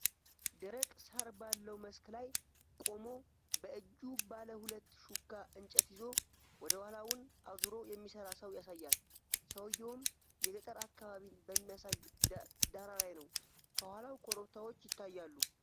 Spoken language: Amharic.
ደረቅ ሣር ባለው መስክ ላይ ቆሞ፣ በእጁ ባለ ሁለት ሹካ እንጨት ይዞ ወደ ኋላውን አዙሮ የሚሰራ ሰው ያሳያል። ሰውየውም የገጠር አካባቢን በሚያሳይ ዳራ ላይ ነው፣ ከኋላው ኮረብታዎች ይታያሉ?